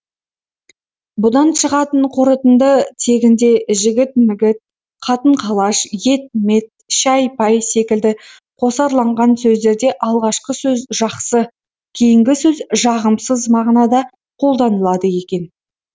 бұдан шығатын қорытынды тегінде жігіт мігіт қатын қалаш ет мет шай пай секілді қосарланған сөздерде алғашқы сөз жақсы кейінгі сөз жағымсыз мағынада қолданылады екен